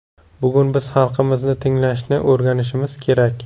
Bugun biz xalqimizni tinglashni o‘rganishimiz kerak.